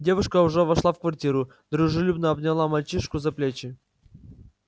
девушка уже вошла в квартиру дружелюбно обняла мальчишку за плечи